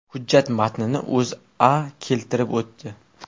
Hujjat matnini O‘zA keltirib o‘tdi .